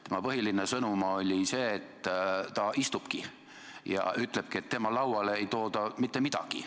Tema põhiline sõnum oli see, et ta istubki ja ütleb, et tema lauale ei tooda mitte midagi.